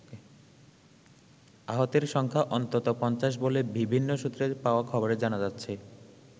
আহতের সংখ্যা অন্তত ৫০ বলে বিভিন্ন সূত্রে পাওয়া খবরে জানা যাচ্ছে।